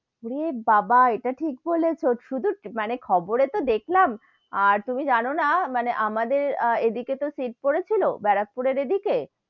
ওরে বাবা ইটা ঠিক বলেছো, শুদু মানে খবরে তো দেখলাম, আর তুমি যেন না মানে আমাদের এদিকে তো seat পড়েছিল, ব্যারাকপুরের এদিকে,